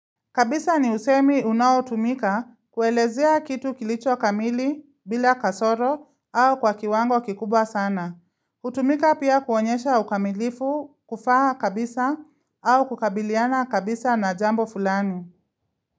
Kabisa ni usemi unaotumika kuelezea kitu kilicho kamili bila kasoro au kwa kiwango kikubwa sana. Hutumika pia kuonyesha ukamilifu, ufaha kabisa au kukabiliana kabisa na jambo fulani.